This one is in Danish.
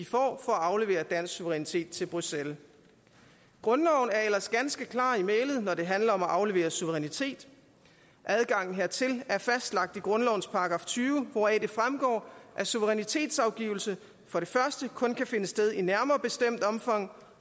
for at aflevere dansk suverænitet til bruxelles grundloven er ellers ganske klar i mælet når det handler om at aflevere suverænitet adgang hertil er fastlagt i grundlovens § tyve hvoraf det fremgår at suverænitetsafgivelse for det første kun kan finde sted i nærmere bestemt omfang